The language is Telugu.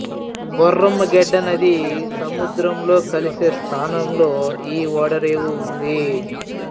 బొర్రమ్మ గెడ్డ నది సముద్రంలో కలిసే స్థానంలో ఈ ఓడరేవు ఉంది